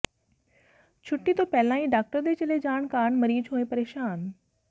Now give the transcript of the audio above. ਛੁੱਟੀ ਤੋਂ ਪਹਿਲਾਂ ਹੀ ਡਾਕਟਰ ਦੇ ਚਲੇ ਜਾਣ ਕਾਰਨ ਮਰੀਜ਼ ਹੋਏ ਪ੍ਰੇਸ਼ਾਨ